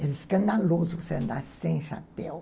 Era escandaloso você andar sem chapéu.